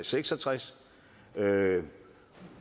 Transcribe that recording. seks og tres